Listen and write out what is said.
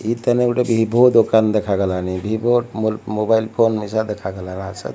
ଏହିତାନେ ଗୋଟେ ଭିଭୋ ଦୋକାନ ଦେଖାଗଲାନି। ଭିଭୋ ମୋର୍ ମୋବାଇଲ୍ ଫୋନ୍ ହିସା ଦେଖାଗଲା ନା ସତ୍।